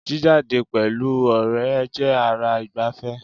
Jíjáde pẹ̀lú ọ̀rẹ́ jẹ́ ara ìgbàfẹ́